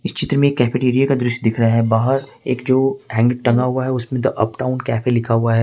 चित्र में कैफेटेरिया दृश्य दिख रहा है बाहर एक जो एक हैंग टांगा हुआ है उसमें अप डाउन कैफे लिखा हुआ है।